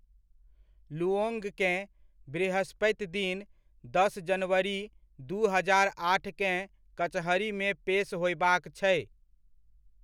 Luong केँ, बृहस्पति दिन, दस जनवरी, दू हजार आठकेँ कचहरीमे पेस होयबाक छै।